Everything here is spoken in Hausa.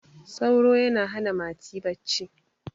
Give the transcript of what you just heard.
sauro ya hana mati bacci